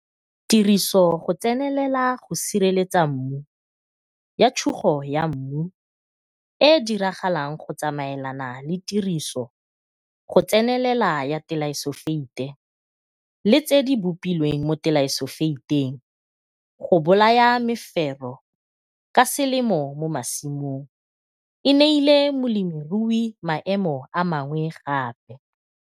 Tiriso go tsenelela go sireletsa mmu ya tshugo ya mmu e e diragalang go tsamaelana le tiriso go tsenelela ya telaifosofeite le tse di bopilweng mo telaifosofeiteng go bolaya mefero ka selemo mo masimong e neile molemiruyi maemo a mangwe gape.